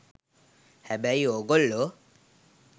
හැබැයි ඕගොල්ලෝ